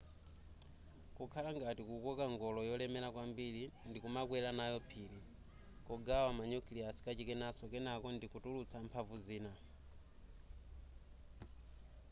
kukhala ngati kukoka ngolo yolemera kwambiri ndikumakwera nayo phiri kugawa ma nucleus kachikenaso kenako ndikutulutsa mphamvu zina